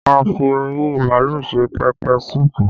A fi ori màálù ṣe pẹpẹ súpù